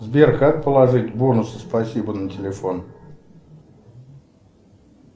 сбер как положить бонусы спасибо на телефон